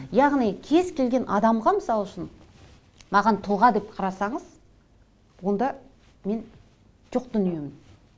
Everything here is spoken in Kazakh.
яғни кез келген адамға мысалы үшін маған тұлға деп қарасаңыз онда мен жоқ дүниемін